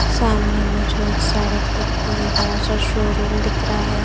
सामने मुझे एक सड़क दिख रही है बड़ा सा शोरूम दिख रहा है।